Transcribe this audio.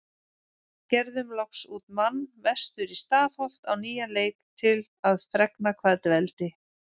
Gerðum loks út mann vestur í Stafholt á nýjan leik til að fregna hvað dveldi